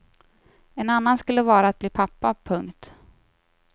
En annan skulle vara att bli pappa. punkt